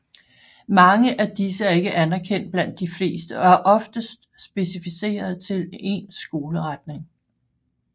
Mange af disse er ikke anerkendt blandt de fleste og er oftest specificeret til en skoleretning